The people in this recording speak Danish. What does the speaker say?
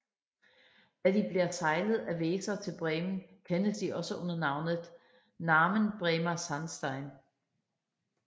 Da de bliver sejlet af Weser til Bremen kendes de også under navnet Namen Bremer Sandstein